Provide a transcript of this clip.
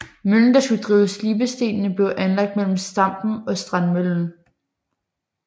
Møllen der skulle drive slibestenene blev anlagt mellem Stampen og Strandmøllen